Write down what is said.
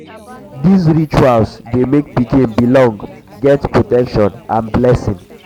these rituals rituals de make pikin belong get protection and blessings